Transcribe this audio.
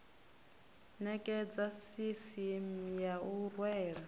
nekedza sisieme ya u rwela